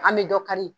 An bɛ dɔ kari